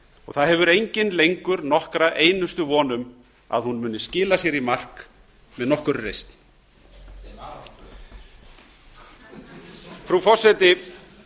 það hefur enginn lengur nokkra einustu von um að hún muni skila sér í mark með nokkurri reisn frú forseti